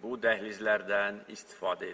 bu dəhlizlərdən istifadə edir.